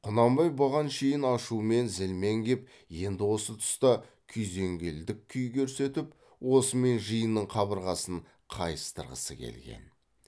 құнанбай бұған шейін ашумен зілмен кеп енді осы тұста күйзелгендік күй көрсетіп осымен жиынның қабырғасын қайыстырғысы келген